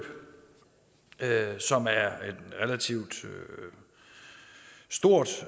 som er et relativt stort